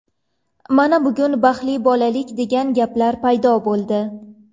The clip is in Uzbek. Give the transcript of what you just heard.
Mana, bugun baxtli bolalik degan gaplar paydo bo‘ldi.